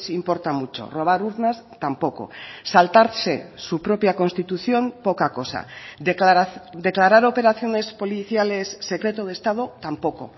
importa mucho robar urnas tampoco saltarse su propia constitución poca cosa declarar operaciones policiales secreto de estado tampoco